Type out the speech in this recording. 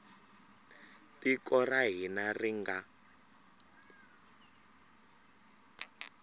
tiko ra hina ri nga